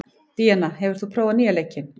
Díanna, hefur þú prófað nýja leikinn?